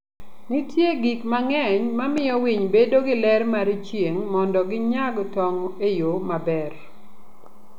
Nitie gik mang'eny mamiyo winy bedo gi ler mar chieng' mondo ginyag tong' e yo maber.